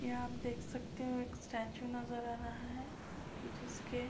यहां आप देख सकते हो एक स्टैच्चू नजर आ रहा है जिसके --